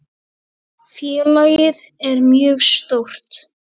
Félagið er mjög stórt.